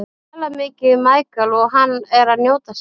Ég tala mikið við Michael og hann er að njóta sín.